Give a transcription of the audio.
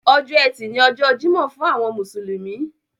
Ọjọ́ ẹtì ni ọjọ́ Jímọ̀ fún àwọn mùsùlùmí.